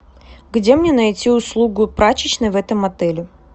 где мне найти услугу прачечной в этом отеле